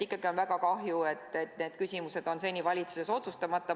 Ikkagi on väga kahju, et need küsimused on seni valitsuses otsustamata.